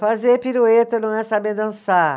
Fazer pirueta não é saber dançar.